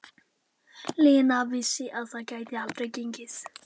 Lena vissi að það gæti aldrei gengið.